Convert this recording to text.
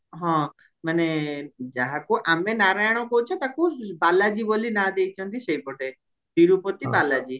ହଁ ଯାହା କୁହ ଆମେ ନାରାୟଣ କହୁଛ ତାକୁ ବାଲାଜୀ ବୋଲି ନାଁ ଦେଇଚନ୍ତି ସେଇପଟେ ତିରୁପତି ବାଲାଜୀ